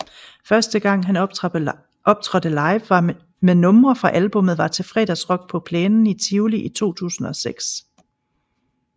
Første gang han optrådte live med numre fra albummet var til Fredagsrock på plænen i Tivoli i 2006